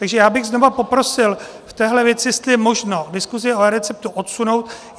Takže já bych znovu poprosil v téhle věci, jestli je možno diskusi o eReceptu odsunout.